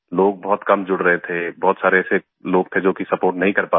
लोग बहुत कम जुड़ रहे थे बहुत सारे ऐसे लोग थे जो कि सपोर्ट नहीं कर पा रहे थे